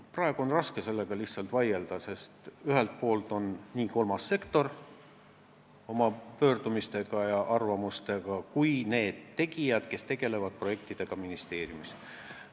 Praegu on raske eelnõule vastu vaielda, sest selle poolt on nii kolmas sektor kui ka need inimesed, kes tegelevad projektidega ministeeriumides.